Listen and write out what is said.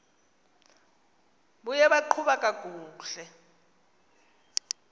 buye baqhuba kakuhle